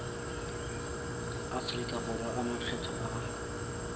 aforika borwa a makgetho a